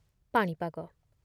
ପାଣିପାଗ